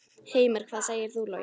Heimir: Hvað segir þú, Logi?